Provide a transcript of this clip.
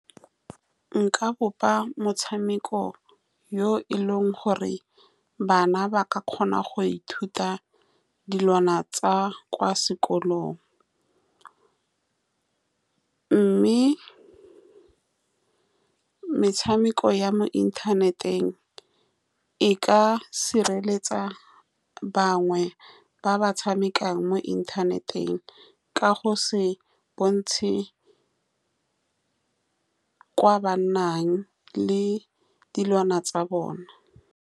Nka bopa motshameko yo e leng gore bana ba ka kgona go ithuta dilwana tsa kwa sekolong, mme metshameko ya mo inthaneteng e ka sireletsa bangwe ba ba tshamekang mo inthaneteng ka go se bontshe ko ba nnang le dilwana tsa bona.